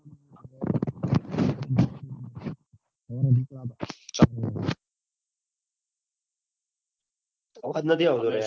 અવાજ નથી આવતો યાર